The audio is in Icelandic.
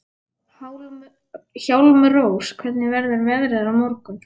Hjálmrós, hvernig verður veðrið á morgun?